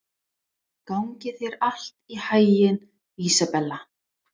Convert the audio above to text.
Gangi þér allt í haginn, Ísabella.